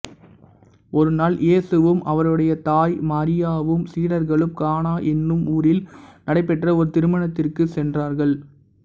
ஒருநாள் இயேசுவும் அவருடைய தாய் மரியாவும் சீடர்களும் கானா என்னும் ஊரில் நடைபெற்ற ஒரு திருமணத்திற்குச் சென்றார்கள்